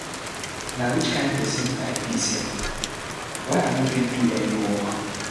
Na which kin person I be sef? why I no fit do any work.